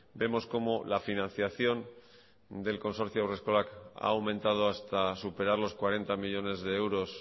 vemos como la financiación del consorcio haurreskolak ha aumentado hasta superar los cuarenta millónes de euros